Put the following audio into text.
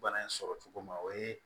Bana in sɔrɔ cogo ma o ye